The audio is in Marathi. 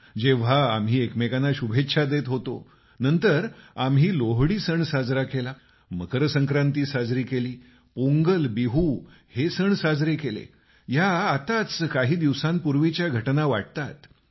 जेव्हा आम्ही एकमेकांना शुभेच्छा देत होतो नंतर आम्ही लोहडी सण साजरा केला मकर संक्रांति साजरी केली पोंगल बिहु हे सण साजरे केले या आताच काही दिवसांपूर्वीच्या घटना वाटतात